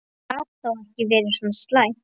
Það gat þá ekki verið svo slæmt.